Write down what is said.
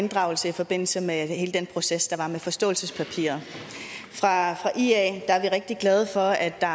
inddragelsen i forbindelse med hele den proces der var med forståelsespapiret i ia er vi rigtig glade for at der